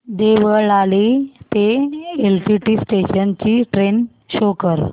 देवळाली ते LTT station ची train show कर